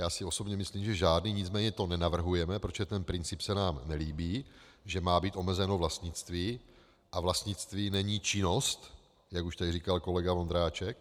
Já si osobně myslím, že žádný, nicméně to nenavrhujeme, protože ten princip se nám nelíbí, že má být omezeno vlastnictví, a vlastnictví není činnost, jak už tady říkal kolega Vondráček.